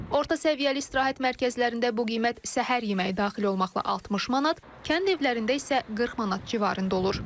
Orta səviyyəli istirahət mərkəzlərində bu qiymət səhər yeməyi daxil olmaqla 60 manat, kənd evlərində isə 40 manat civarında olur.